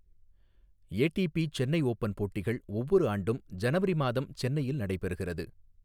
ATP Chennai open போட்டிகள் ஒவ்வொரு ஆண்டும் ஜனவரி மாதம் சென்னையில் நடைபெறுகிறது.